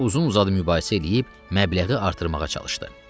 Uzun-uzadı mübahisə eləyib məbləği artırmağa çalışdı.